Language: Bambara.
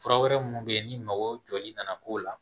Fura wɛrɛ minnu bɛ yen ni mago jɔli nana k'o la